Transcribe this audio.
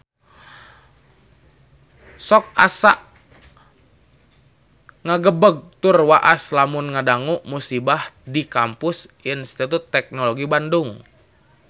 Sok asa ngagebeg tur waas lamun ngadangu musibah di Kampus Institut Teknologi Bandung